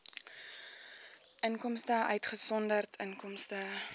inkomste uitgesonderd inkomste